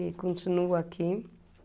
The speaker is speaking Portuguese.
E continuo aqui.